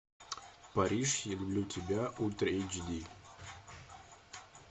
париж я люблю тебя ультра эйч ди